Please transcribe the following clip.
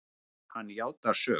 Hann játar sök.